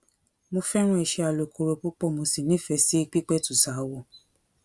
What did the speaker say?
mo fẹràn iṣẹ alùkòrò púpọ mo sì nífẹẹ sí pípẹtù ṣaáwọ